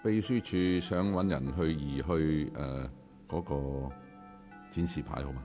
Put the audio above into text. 請秘書處人員移除那個展示牌。